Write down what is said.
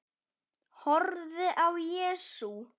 Horfði á Jesú.